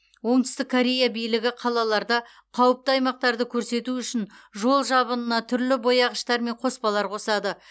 оңтүстік корея билігі қалаларда қауіпті аймақтарды көрсету үшін жол жабынына түрлі бояғыштар мен қоспалар қосады